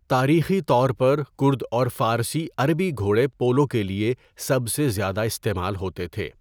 تاریخی طور پر کرد اور فارسی عربی گھوڑے پولو کے لیے سب سے زیادہ استعمال ہوتے تھے۔